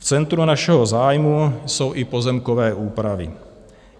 V centru našeho zájmu jsou i pozemkové úpravy.